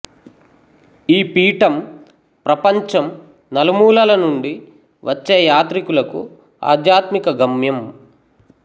ఈ పీఠం ప్రపంచం నలుమూలల నుండి వచ్చే యాత్రికులకు ఆధ్యాత్మిక గమ్యం